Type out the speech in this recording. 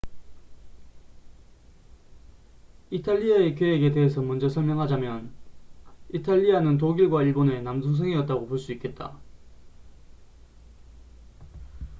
이탈리아의 계획에 대해서 먼저 설명을 하자면 이탈리아는 독일과 일본의 남동생'이었다고 볼 수 있겠다